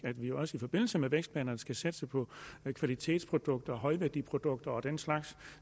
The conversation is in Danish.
vi også i forbindelse med vækstplanerne skal satse på kvalitetsprodukter og højværdiprodukter og den slags